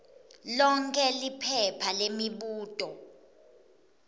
lonkhe liphepha lemibuto